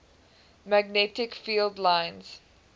magnetic field lines